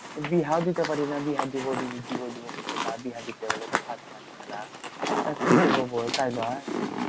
বিহাও দিতে পারি না। বিহা দিবো দিবো দিবো করছে। বিহা দিতে গেলে তো খরচার খেলা। তা কি করবো বল তাই লয়?